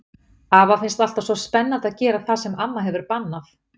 Afa finnst alltaf svo spennandi að gera það sem amma hefur bannað.